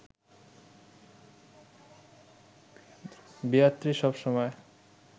Beatrice সবসময়